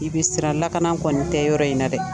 I bɛ siran lakana kɔni tɛ yɔrɔ in na dɛ